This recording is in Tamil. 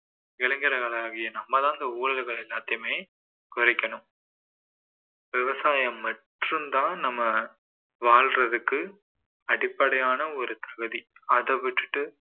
இளைஞர்களாகிய நம்ம தான் இந்த ஊழல்கள் எல்லாத்தையுமே குறைக்கணும் விவசாயம் மட்டும் தான் நம்ம வாழறதுக்கு அடிப்படையான ஒரு தகுதி அதை விட்டுட்டு